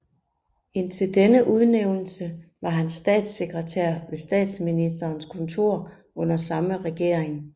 Indtil denne udnævnelse var han statssekretær ved Statsministerens kontor under samme regering